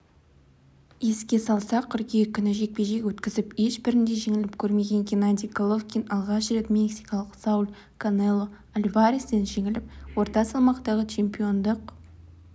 еске салсақ қыркүйек күні жекпе-жек өткізіп ешбірінде жеңіліп көрмеген геннадий головкин алғаш рет мексикалық сауль канело альварестен жеңіліп орта салмақтағы чемпиондық